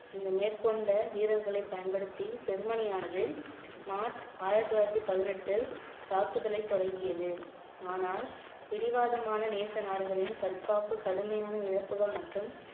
இந்த மேற்கொண்ட வீரர்களை பயன்படுத்தி ஜெர்மனியானது மார்ச் ஆயிரத்தி தொள்ளாயிரத்தி பதினெட்டு தாக்குதலை தொடங்கியது ஆனால் பிடிவாதமான நேச நாடுகளின் தற்காப்பு கடுமையான இழப்புகள் மற்றும்